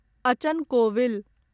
अचन कोविल